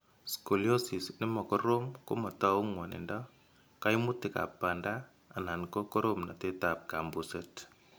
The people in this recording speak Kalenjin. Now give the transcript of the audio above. Scoliosis ne ma korom ko matou ng'wanindo, kaimutikab banda, anan ko koromnatetab kambuset.